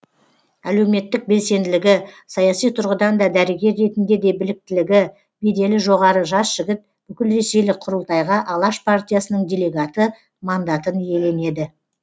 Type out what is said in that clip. әлеуметтік белсенділігі саяси тұрғыдан да дәрігер ретінде де біліктілігі беделі жоғары жас жігіт бүкілресейлік құрылтайға алаш партиясының делегаты мандатын иеленеді